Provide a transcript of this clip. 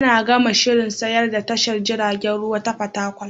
Ana gama shirin sayar da tashar jiragen ruwa ta Fatakwal.